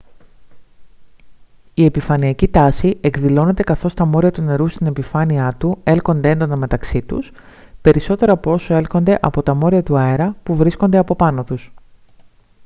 η επιφανειακή τάση εκδηλώνεται καθώς τα μόρια του νερού στην επιφάνειά του έλκονται έντονα μεταξύ τους περισσότερο από όσο έλκονται από τα μόρια του αέρα που βρίσκονται από πάνω τους